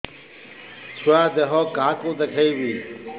ଛୁଆ ଦେହ କାହାକୁ ଦେଖେଇବି